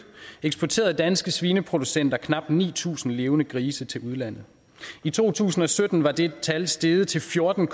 eksporterede danske svineproducenter knap ni tusind levende grise til udlandet i to tusind og sytten var det tal steget til fjorten